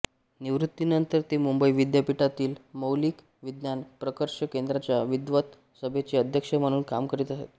निवृत्तीनंतर तॆ मुंबई विद्यापीठातील मौलिक विज्ञान प्रकर्ष केंद्राच्या विद्वत सभेचे अध्यक्ष म्हणून काम करीत आहेत